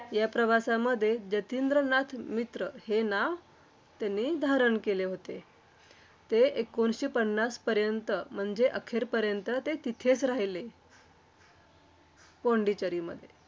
या प्रवासामध्ये जतींद्रनाथ मित्र हे नाव त्यांनी धारण केले होते. ते एकोणीसशे पन्नासपर्यंत म्हणजे अखेरपर्यंत ते तेथेच राहिले. पोंडिचेरीमध्ये.